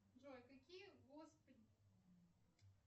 джой какие